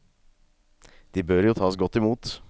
De bør jo tas godt imot.